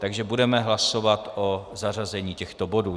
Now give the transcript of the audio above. Takže budeme hlasovat o zařazení těchto bodů.